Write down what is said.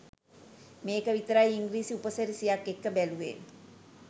මේක විතරයි ඉංග්‍රීසි උපසිරැසියක් එක්ක බැලුවේ.